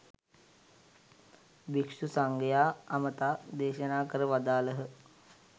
භික්ෂු සංඝයා අමතා දේශනා කර වදාළහ.